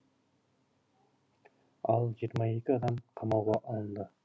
ал жиырма екі адам қамауға алынды